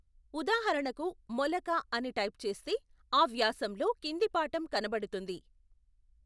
ఉదాహరణకు మొలక అని టైపు చేస్తే ఆ వ్యాసంలో కింది పాఠం కనపడుతుంది.